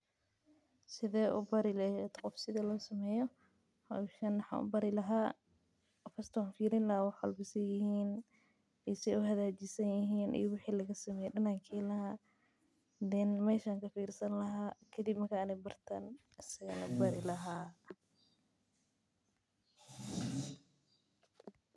Sithe u bari lehed sitha hoshan losameyo maxan u bari laha sitha losameye iyo waxa laga sameye marki an barto ayan anigana bari laha sithan u barte oo kale.